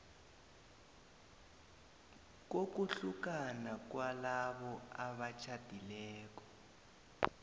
kokuhlukana kwalabo abatjhadileko